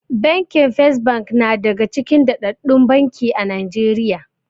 Bankin First na daga cikin daddaɗɗun banki a Najeriya.